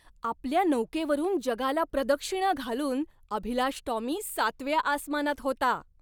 आपल्या नौकेवरून जगाला प्रदक्षिणा घालून अभिलाष टॉमी सातव्या आसमानात होता.